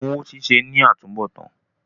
Òògùn owó ṣíṣe ní àtúnbọ̀tán.